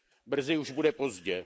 Brzy už bude pozdě.